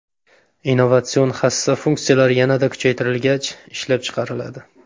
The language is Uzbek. Innovatsion hassa funksiyalari yanada kuchaytirilgach, ishlab chiqariladi.